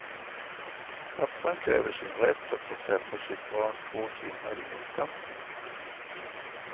Pappan kräver sin rätt att få träffa sitt barn två timmar i veckan.